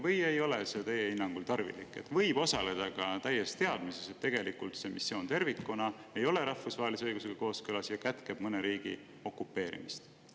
Või ei ole see teie hinnangul tarvilik ja võib osaleda ka täies teadmises, et tegelikult see missioon tervikuna ei ole rahvusvahelise õigusega kooskõlas ja kätkeb mõne riigi okupeerimist?